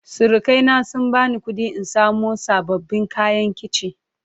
Surukai na sun bani kuɗi in samo sababbin kayan kici.